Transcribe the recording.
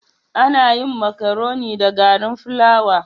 Ana yin makaroni da garin fulawa.